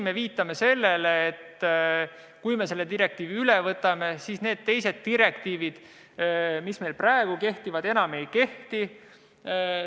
Me viitame siin sellele, et kui me selle direktiivi üle võtame, siis need teised direktiivid, mis meil praegu kehtivad, enam ei kehti.